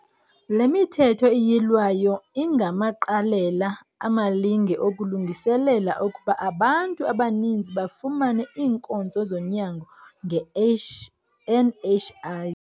Le Mithetho iYilwayo ingamaqalela amalinge okulungiselela ukuba abantu abaninzi bafumane iinkonzo zonyango nge-NHI.